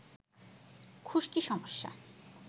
খুশকি সমস্যা